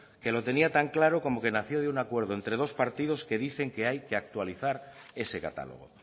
que lo tenía tan clara como que nació de un acuerdo entre dos partidos que dicen que hay que actualizar ese catálogo